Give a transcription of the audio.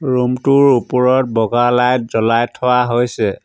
Room টোৰ ওপৰত বগা লাইট জ্বলাই থোৱা হৈছে।